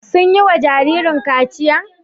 Sun yi wa jaririn kachiya?